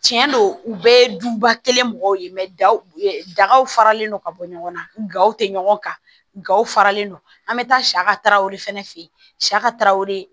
Tiɲɛ don u bɛɛ ye duba kelen mɔgɔw ye dagaw faralen no ka bɔ ɲɔgɔn na gawo tɛ ɲɔgɔn kan gaw faralen non an bɛ taa sa ka tarawere fana fɛ yen sa ka taa o de